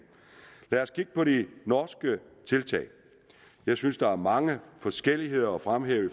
lad os kigge på de norske tiltag jeg synes der er mange forskelligheder at fremhæve